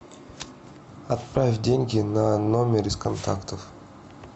отправь деньги на номер из контактов